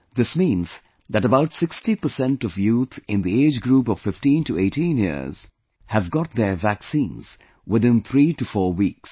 This means that about 60% of youth in the age group of 15 to 18 years have got their vaccines within three to four weeks